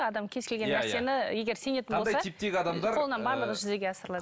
адам кез келген нәрсені егер сенетін болса типтегі адамдар қолынан барлығы жүзеге асырылады